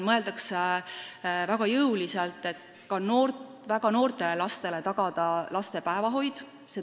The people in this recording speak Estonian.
Mõeldakse väga jõuliselt sellele, kuidas ka väga väikestele lastele tagada päevahoid.